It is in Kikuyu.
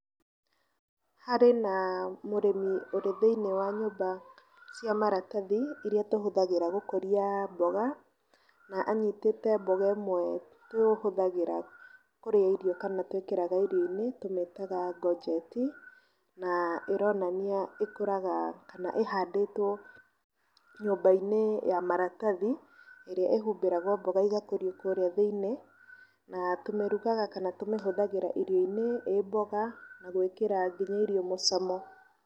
Harĩ na mũrĩmi ũrĩ thĩiniĩ wa nyũmba cia maratathi iria tũhũthagĩra gũkuria mboga, na anyitĩĩte mboga ĩmwe tũhũthagĩra kũrĩa irio kana twĩkĩraga irio-inĩ tũmĩtaga ngojeti, na ĩronania ĩkũraga kana ĩhandĩĩtwo nyũmbainĩ ya maratathi ĩrĩa ĩhumbĩragwo mboga igakũrio kũrĩa thĩĩniĩ. Na tũmirugaga kana tũmihũthagĩra irio-inĩ ĩ mboga, na gwĩkĩra nginya irio mũcamo.